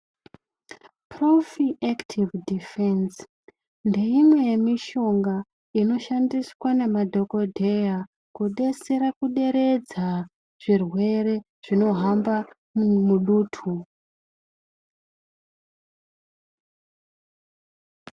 Profi active defense ndeimwe yemishonga inoshandiswa nemadhokoteya kudetsera kuderedza zvirwere zvinohamba mudutu.